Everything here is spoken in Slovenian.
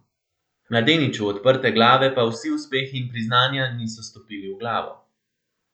Mladeniču odprte glave pa vsi uspehi in priznanja niso stopili v glavo.